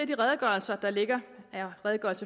de redegørelser der ligger r